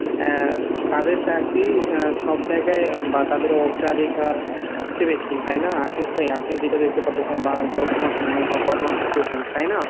আহ তাদের চাকরি সব জায়গায় বা তাদের অগ্রাধিকার সবচেবেশি তাই না আশিক ভাই আপনি যেটা দেখতে পারতেসেন বা বর্তমান সময়ে বা বর্তমান situation এ তাই না?